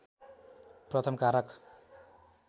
प्रथम कारक